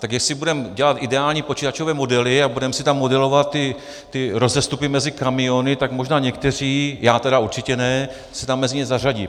Tak jestli budeme dělat ideální počítačové modely a budeme si tam modelovat ty rozestupy mezi kamiony, tak možná někteří, já tedy určitě ne, se tam mezi ně zařadí.